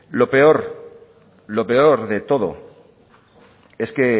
lo peor lo peor de todo es que